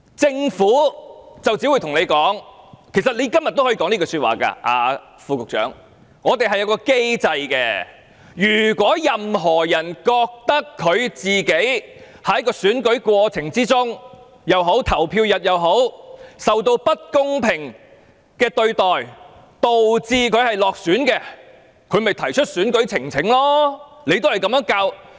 政府只會告訴我們——副局長你今天也可以這樣說——政府有一個機制，如果任何人覺得自己在選舉過程中或投票日當天，受到不公平對待導致落選，可以提出選舉呈請。